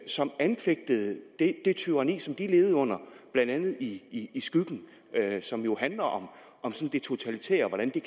som anfægtede det tyranni som de levede under blandt andet i i skyggen som jo handler om det totalitære og hvordan det